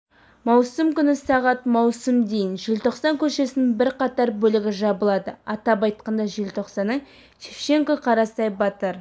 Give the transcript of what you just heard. маусым күні сағат маусым дейін желтоқсан көшесінің бірқатар бөлігі жабылады атап айтқанда желтоқсанның шевченко қарасай батыр